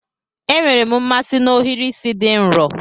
Enwere m mmasị na ohiri isi di nro